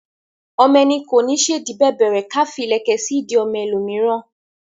Ọmọ ẹni kò ní ṣèdí bẹ̀bẹ̀rẹ̀ ká fí ìlẹ̀kẹ̀ sí ìdí ọmọ ẹ lò míràn